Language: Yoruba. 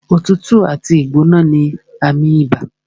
Òtútù àti ìgbóná ní àmì ibà